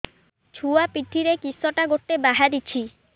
ଛୁଆ ପିଠିରେ କିଶଟା ଗୋଟେ ବାହାରିଛି